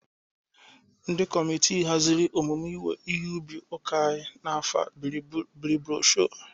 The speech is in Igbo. Ndị kọmitị hazịrị emume owuwe ihe ubi ụlọ akụ anyị n'afọ bịrị brosho.